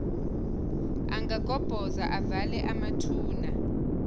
angagobhoza avale amathuna